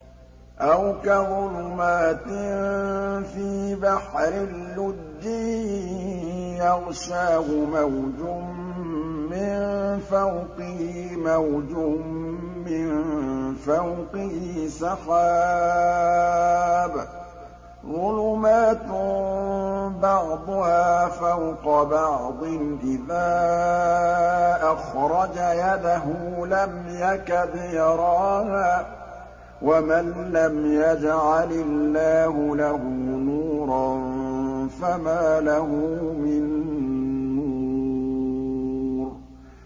أَوْ كَظُلُمَاتٍ فِي بَحْرٍ لُّجِّيٍّ يَغْشَاهُ مَوْجٌ مِّن فَوْقِهِ مَوْجٌ مِّن فَوْقِهِ سَحَابٌ ۚ ظُلُمَاتٌ بَعْضُهَا فَوْقَ بَعْضٍ إِذَا أَخْرَجَ يَدَهُ لَمْ يَكَدْ يَرَاهَا ۗ وَمَن لَّمْ يَجْعَلِ اللَّهُ لَهُ نُورًا فَمَا لَهُ مِن نُّورٍ